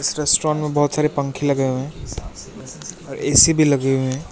इस रेस्टोरेंट में बहुत सारे पंखे लगे हुए हैं और ए_सी भी लगे हुए हैं।